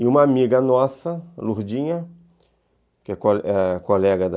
E uma amiga nossa, Lurdinha, que é ãh colega da...